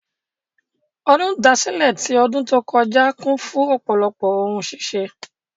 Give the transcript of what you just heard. Ọdún ìdásílẹ̀ tí ọdùn tó kọ́já kún fún ọ̀pọ̀lọpọ̀ ohun ṣíṣe.